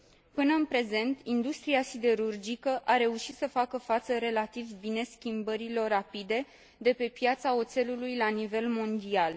Până în prezent, industria siderurgică a reușit să facă față relativ bine schimbărilor rapide de pe piața oțelului la nivel mondial.